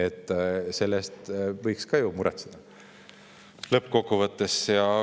Lõppkokkuvõttes võiks ju ka selle pärast muretseda.